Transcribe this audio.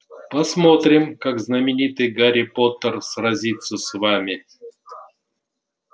посмотрим как знаменитый гарри поттер сразится с вами